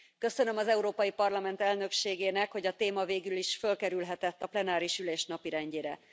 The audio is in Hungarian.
Köszönöm az Európai Parlament elnökségének, hogy a téma végülis fölkerülhetett a plenáris ülés napirendjére.